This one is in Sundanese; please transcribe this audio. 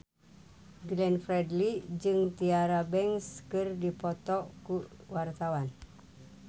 Glenn Fredly jeung Tyra Banks keur dipoto ku wartawan